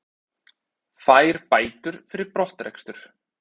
Fær bætur fyrir brottrekstur